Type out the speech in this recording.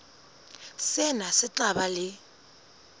sena se tla ba le